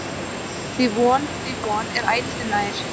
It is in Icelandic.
Því von, því von, er ætíð nær.